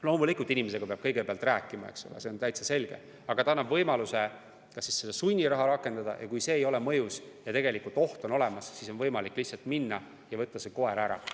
Loomulikult, inimesega peab kõigepealt rääkima, see on täitsa selge, aga seadus annab võimaluse sunniraha rakendada ja kui see ei ole mõjus ja oht on olemas, siis on võimalik lihtsalt minna ja võtta see koer ära.